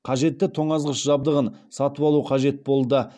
қажетті тоңазғыш жабдығын сатып алу қажет болды